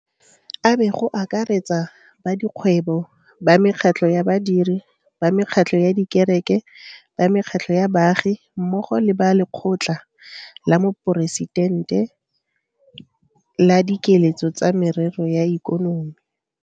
Abe go akaretsa ba dikgwebo, ba mekgatlho ya badiri, ba mekgatlho ya dikereke, ba mekgatlho ya baagi mmogo le ba Lekgotla la Moporesitente la Dikeletso tsa Merero ya Ikonomi.